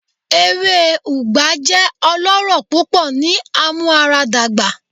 Ewe Ugba jẹ ọlọrọ pupọ ni amuaradagba